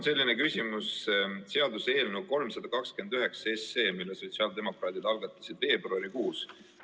Mul on küsimus seaduseelnõu 329 kohta, mille sotsiaaldemokraadid algatasid veebruarikuus.